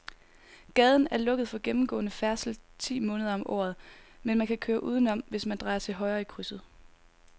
Gaden er lukket for gennemgående færdsel ti måneder om året, men man kan køre udenom, hvis man drejer til højre i krydset.